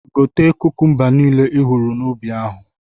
Gote kukumba nile ihụrụ n'ubi ahụ!